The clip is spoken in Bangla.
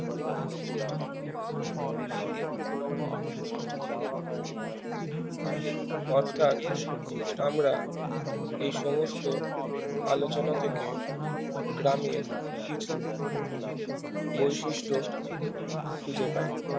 অর্থাৎ আমরা এই সমস্ত আলোচনা থেকে গ্রামের কিছু বৈশিষ্ট খুঁজে পাই